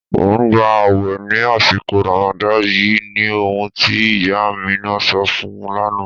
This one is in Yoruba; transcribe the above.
Ọ n gbà ààwè ni àṣìkò Ràmádán yìí ní ọ̀hun tí ìyá Àmínà sọ̀ fún ún lánà.